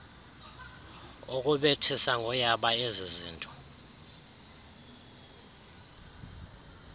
ukubethisa ngoyaba ezizinto